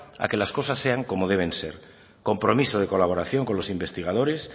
a que las cosas sean como deben ser compromiso de colaboración con los investigadores